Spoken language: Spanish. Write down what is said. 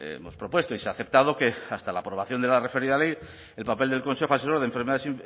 hemos propuesto y se ha aceptado que hasta la aprobación de la referida ley el papel del consejo asesor de enfermedades